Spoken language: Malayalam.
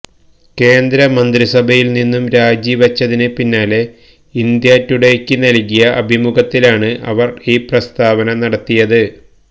കേന്ദ്ര മന്ത്രിസഭയില് നിന്നും രാജി വെച്ചതിന് പിന്നാലെ ഇന്ത്യാ ടുഡേയ്ക്ക് നല്കിയ അഭിമുഖത്തിലാണ് അവര് ഈ പ്രസ്താവന നടത്തിയത്